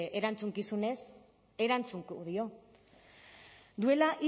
erantzukizunez erantzungo dio duela